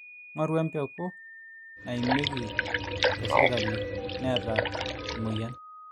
ng'oru empegu naimieki tesirkali neeta emwueyian